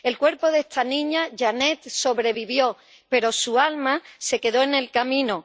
El cuerpo de esta niña, Janeth, sobrevivió, pero su alma se quedó en el camino.